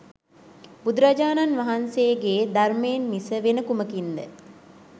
බුදුරජාණන් වහන්සේ ගේ ධර්මයෙන් මිස වෙන කුමකින් ද?